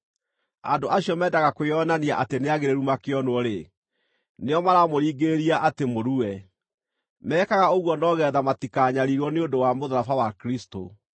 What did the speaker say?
Andũ acio mendaga kwĩonania atĩ nĩagĩrĩru makĩonwo-rĩ, nĩo maramũringĩrĩria atĩ mũrue. Mekaga ũguo no geetha matikanyariirwo nĩ ũndũ wa mũtharaba wa Kristũ.